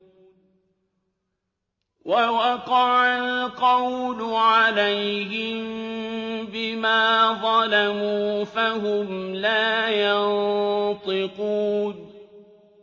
وَوَقَعَ الْقَوْلُ عَلَيْهِم بِمَا ظَلَمُوا فَهُمْ لَا يَنطِقُونَ